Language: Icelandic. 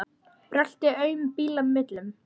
Brölti aum bíla millum.